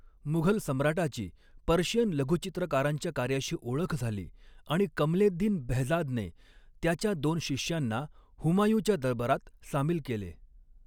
मुघल सम्राटाची पर्शियन लघुचित्रकारांच्या कार्याशी ओळख झाली आणि कमलेद्दीन बेहझादने त्याच्या दोन शिष्यांना हुमायूंच्या दरबारात सामील केले.